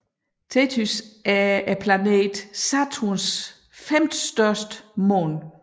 Tethys er planeten Saturns femtestørste måne